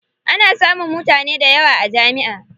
Ana samun mutane dayawa a jami'a.